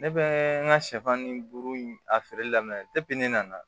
Ne bɛ n ka sɛfan ni buru a feereli daminɛ ne nana